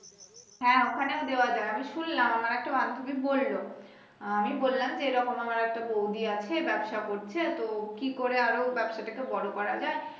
হ্যা ওখানেও দেয়া যায় আমি শুনলাম আমার একটা বান্ধুবী বলল আহ আমি বললাম যে এরকম আমার একটা বৌদি আছে ব্যাবসা করছে তো কি করে আরো ব্যাবসাটাকে বড় করা যায়